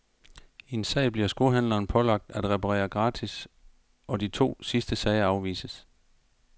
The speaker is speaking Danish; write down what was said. I en sag bliver skohandleren pålagt at reparere gratis, og de to sidste sager afvises.